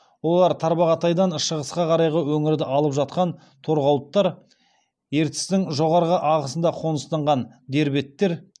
олар тарбағатайдан шығысқа қарайғы өңірді алып жатқан торғауыттар ертістің жоғары ағысында қоныстанған дербеттер